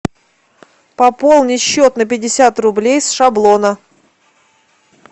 пополни счет на пятьдесят рублей с шаблона